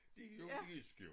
Det jo jysk jo